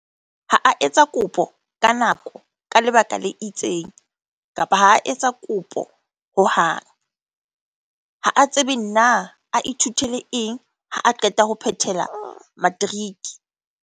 Ha a etsa kopo ka nako ka lebaka le itseng kapa ha a etsa kopo hohang. Ha a tsebe na a ithutele eng ha qeta ho phethela matriki.